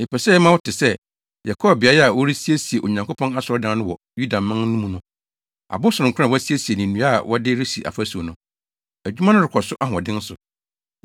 Yɛpɛ sɛ yɛma wo te sɛ, yɛkɔɔ beae a wɔresiesie Onyankopɔn asɔredan no wɔ Yudaman mu no. Abo sononko a wɔasiesie ne nnua na wɔde resi afasu no. Adwuma no rekɔ so ahoɔden so.